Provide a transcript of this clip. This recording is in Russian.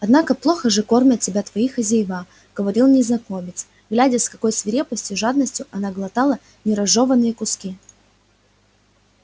однако плохо же кормят тебя твои хозяева говорил незнакомец глядя с какою свирепостью жадностью она глотала не разжёванные куски